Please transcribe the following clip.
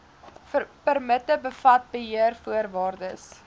permitte bevat beheervoorwaardes